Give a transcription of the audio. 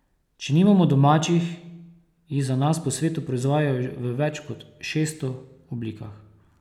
Če nimamo domačih, jih za nas po svetu proizvajajo v več kot šeststo oblikah.